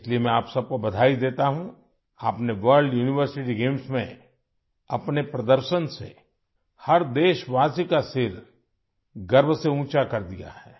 آپ نے world university games میں اپنی کارکردگی سے ہر شہری کا سر فخر سے بلند کر دیا ہے